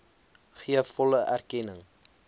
gee volle erkenning